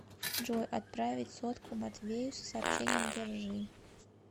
джой отправить сотку матвею с сообщением держи